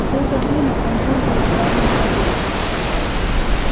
все это время он был его тайным агентом